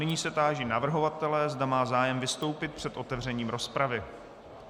Nyní se táži navrhovatele, zda má zájem vystoupit před otevřením rozpravy.